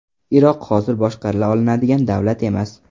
Iroq hozir boshqarila olinadigan davlat emas.